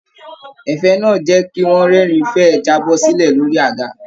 Ẹ̀fẹ̀ náà jẹ kí wọn rẹ́rìn fẹ ẹ jábọ́-sílẹ̀ lórí àga.